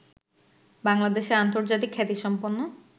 বাংলাদেশের আন্তর্জাতিক খ্যাতিসম্পন্ন